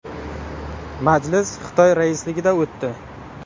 Majlis Xitoy raisligida o‘tdi.